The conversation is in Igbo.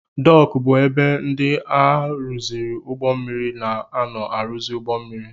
Dooku bụ ebe ndị na-aruzi ụgbọ mmiri na-ano aruzi ụgbọ mmiri.